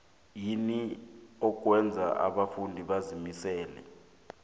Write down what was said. yini okwenza abafundi bazimisele